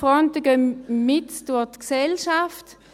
Die Fronten gehen mitten durch die Gesellschaft.